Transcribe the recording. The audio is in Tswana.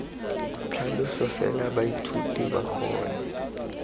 tlhaloso fela baithuti ba kgone